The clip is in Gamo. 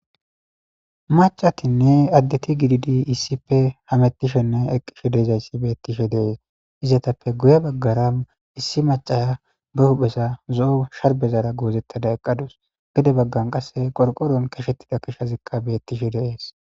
macatinne addeti gididi issife hamettishenne eqishe deezayssi bettishe deees izatappe guye baggara issi macaya be huphesa zo7o sharbezara goozettada eqqadus gede baggan qasse qorqoron kashettida kishazikka bettishe deees